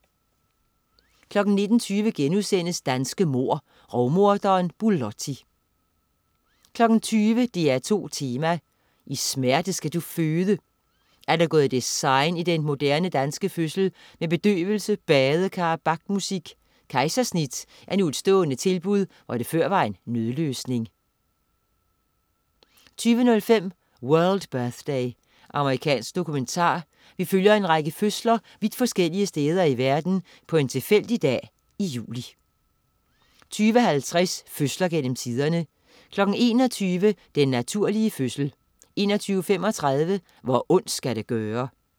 19.20 Danske mord. Rovmorderen Bulotti* 20.00 DR2 Tema: I smerte skal du føde ...? Er der gået design i den moderne, danske fødsel med bedøvelse, badekar og Bach-musik? Kejsersnit er nu et stående tilbud, hvor det før var en nødløsning 20.05 World Birthday. Amerikansk dokumentar. Vi følger en række fødsler vidt forskellige steder i verden på en tilfældig dag i juli 20.50 Fødsler gennem tiderne 21.00 Den naturlige fødsel 21.35 Hvor ondt skal det gøre?